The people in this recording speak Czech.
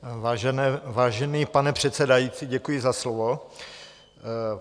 Vážená paní předsedající, děkuji za slovo.